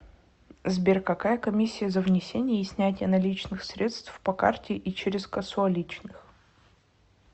сбер какая комиссия за внесение и снятие наличных средств по карте и через кассуаличных